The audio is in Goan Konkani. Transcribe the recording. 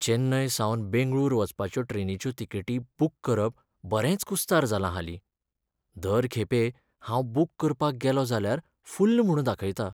चेन्नय सावन बेंगळूर वचपाच्यो ट्रेनीच्यो तिकेटी बूक करप बरेंच कुस्तार जालां हालीं. दर खेपे हांव बूक करपाक गेलों जाल्यार फुल्ल म्हूण दाखयता.